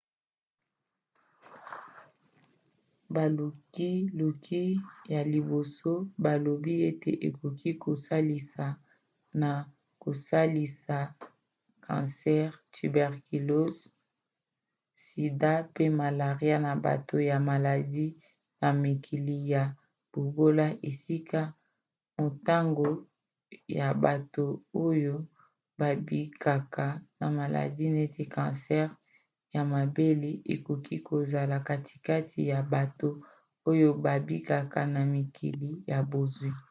balukiluki ya liboso balobi ete ekoki kosalisa na kosilisa kansere tuberculose sida pe malaria na bato ya maladi na mikili ya bobola esika motango ya bato oyo babikaka na maladi neti kansere ya mabele ekoki kozala katikati ya bato oyo babikaka na mikili ya bozwi